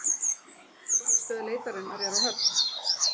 Stjórnstöð leitarinnar er á Höfn